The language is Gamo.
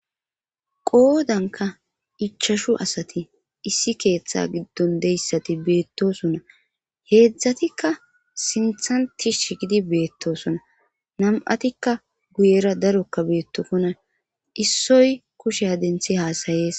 qoodanka ichashu asati issi keeththe giddon deyssati beettosona heedzdzatikka sinthanti shigidi beettosona nam7atikka guyera darokka beettofona issoy kushe a denthi haasayees